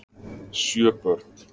Sjö börn